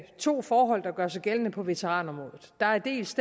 to forhold der gør sig gældende på veteranområdet der er dels